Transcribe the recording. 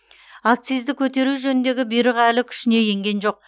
акцизді көтеру жөніндегі бұйрық әлі күшіне енген жоқ